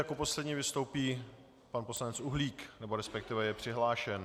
Jako poslední vystoupí pan poslanec Uhlík, nebo respektive je přihlášen.